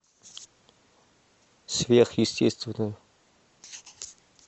сверхъестественное